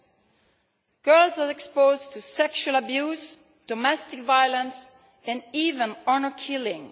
and girls are exposed to sexual abuse, domestic violence and even honour killing.